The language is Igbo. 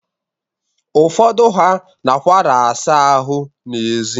Ụfọdụ ha nakwara asa ahụ n'ezi.